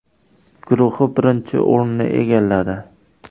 guruhi birinchi o‘rinni egalladi.